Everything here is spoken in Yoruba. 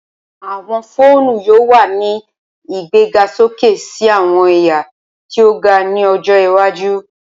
Awọn foonu yoo wa ni igbegasoke si awọn ẹya ti o ga ni ojo iwaju.